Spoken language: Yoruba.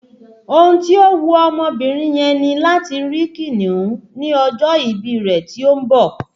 Ohun tí ó wu ọmọbìnrin yẹn ni láti rí kìnìún ní ọjọ́ ìbí rẹ tí ó ń bọ̀